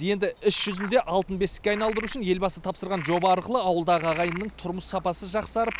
енді іс жүзінде алтын бесікке айналдыру үшін елбасы тапсырған жоба арқылы ауылдағы ағайынның тұрмыс сапасы жақсарып